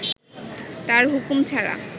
তার হুকুম ছাড়া